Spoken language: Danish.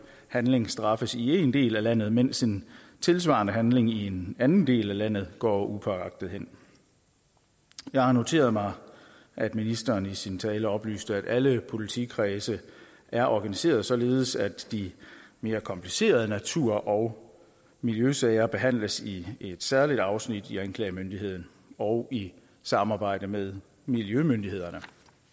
handling straffes i en del af landet mens en tilsvarende handling i en anden del af landet går upåagtet hen jeg har noteret mig at ministeren i sin tale oplyste at alle politikredse er organiseret således at de mere komplicerede natur og miljøsager behandles i et særligt afsnit i anklagemyndigheden og i samarbejde med miljømyndighederne